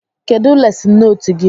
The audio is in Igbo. Kedụ lesịn nootu gị?